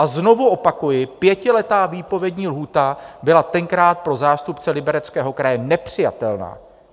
A znovu opakuji, pětiletá výpovědní lhůta byla tenkrát pro zástupce Libereckého kraje nepřijatelná.